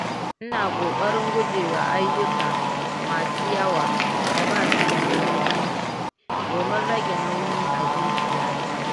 Ina ƙoƙarin guje wa ayyuka masu yawa da ba su da muhimmanci domin rage nauyi a zuciyata.